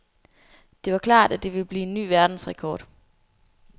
Det var klart, at det ville blive en ny verdensrekord.